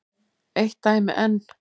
Eitt dæmi enn.